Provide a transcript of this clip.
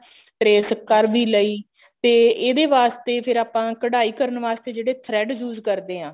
trace ਕਰ ਵੀ ਲਈ ਤੇ ਇਹਦੇ ਵਾਸਤੇ ਫੇਰ ਆਪਾਂ ਕਡਾਈ ਕਰਨ ਵਾਸਤੇ ਜਿਹੜੇ thread use ਕਰਦੇ ਆ